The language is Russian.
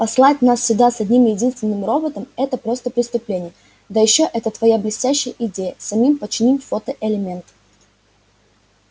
послать нас сюда с одним единственным роботом это просто преступление да ещё эта твоя блестящая идея самим починить фотоэлементы